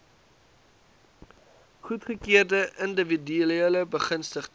goedgekeurde indiwiduele begunstigdes